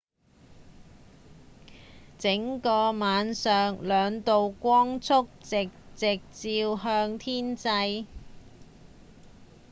整個晚上兩道光束直直照向天際